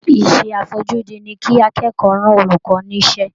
Iṣẹ́ àfojúdi ni kí akẹ́kọ̀ọ́ rán olùkọ́ ní iṣẹ́